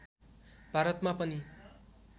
भारतमा पनि